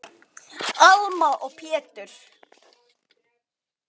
Alma og Pétur.